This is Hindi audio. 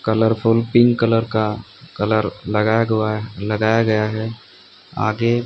कलरफुल पिंक कलर का कलर लगाया गुवा लगाया गया है आगे--